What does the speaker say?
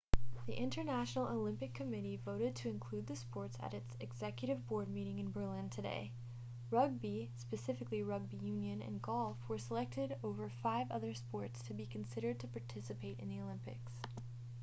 the international olympic committee voted to include the sports at its executive board meeting in berlin today rugby specifically rugby union and golf were selected over five other sports to be considered to participate in the olympics